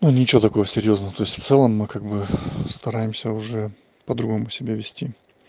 ну ничего такого серьёзно то есть в целом мы как бы стараемся уже по-другому себя вести